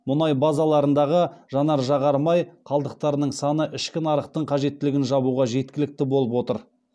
мұнай базаларындағы жанар жағар май қалдықтарының саны ішкі нарықтың қажеттілігін жабуға жеткілікті болып отыр